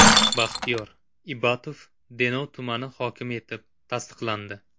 Baxtiyor Ibatov Denov tumani hokimi etib tasdiqlandi.